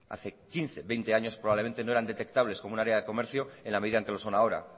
hace quince o veinte años probablemente no eran detectables como un área de comercio en la medida en que lo son ahora